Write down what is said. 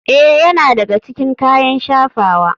Ee, yana daga cikin kayan shafawa.